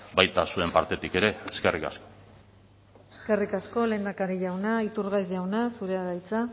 baita zuen partetik ere eskerrik asko eskerrik asko lehendakari jauna iturgaiz jauna zurea da hitza